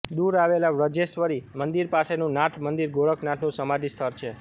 દૂર આવેલાં વજ્રેશ્વરી મંદિર પાસેનું નાથ મંદિર ગોરખનાથનું સમાધિ સ્થળ છે